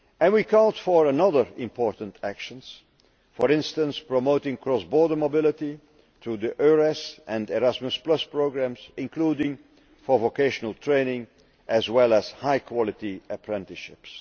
We also called for other important actions for instance promoting cross border mobility through the EURES and Erasmus programmes, including vocational training, as well as high quality apprenticeships.